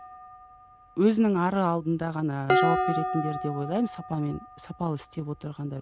өзінің ары алдында ғана жауап беретіндер деп ойлаймын сапамен сапалы істеп отырғандар